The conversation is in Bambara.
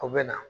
U bɛ na